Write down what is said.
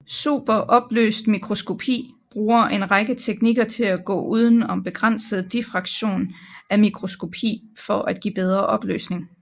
Superopløst mikroskopi bruger en række teknikker til at gå uden om begrænset diffraktion af mikroskopi for at give bedre opløsning